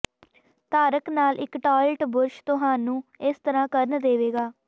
ਧਾਰਕ ਨਾਲ ਇੱਕ ਟਾਇਲਟ ਬੁਰਸ਼ ਤੁਹਾਨੂੰ ਇਸ ਤਰ੍ਹਾਂ ਕਰਨ ਦੇਵੇਗਾ